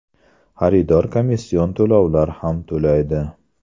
Xaridor komission to‘lovlar ham to‘laydi.